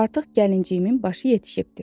artıq gəlinciyimin başı yetişibdi.